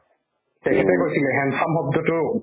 তেখেতে কৈছিলে handsome শব্দটো